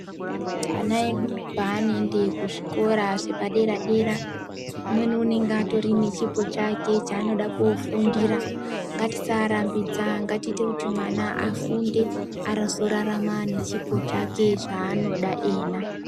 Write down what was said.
Ana edu panoenda kuzvikora zvepadera dera umweni unenge ane chipo chake chanoda kunofundira. Ngatisaarambidza katiite kuti mwana afunde azorarama nechipo chake zvaanoda iyena.